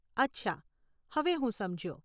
અચ્છા, હવે હું સમજ્યો.